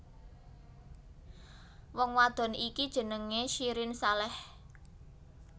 Wong wadon iki jenengé Syirin Saleh